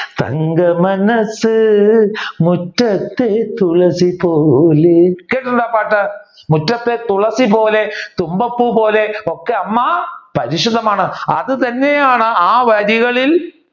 തങ്ക മനസ് മുറ്റത്തെ തുളസി പോലെ കേട്ടിട്ടുണ്ടോ ആ പാട്ട് മുറ്റത്തെ തുളസി പോലെ തുമ്പപ്പൂ പോലെ ഒക്കെ അമ്മ പരിശുദ്ധമാണ്. അത് തന്നെയാണ് ആ വരികളിൽ